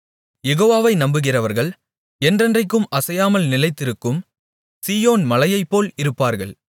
யெகோவாவை நம்புகிறவர்கள் என்றென்றைக்கும் அசையாமல் நிலைத்திருக்கும் சீயோன் மலையைப்போல் இருப்பார்கள்